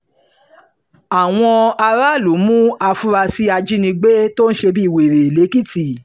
àwọn aráàlú mú àfurasí ajínigbé ajínigbé tó ń ṣe bíi wèrè lẹ́kìtì